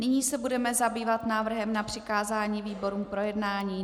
Nyní se budeme zabývat návrhem na přikázání výborům k projednání.